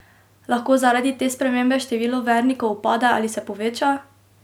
Lahko zaradi te spremembe število vernikov upade ali se poveča?